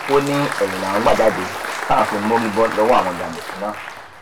ó ní ẹyìn làwọn gbà jáde táwọn fi mórí bọ lọwọ àwọn jàǹdùkú náà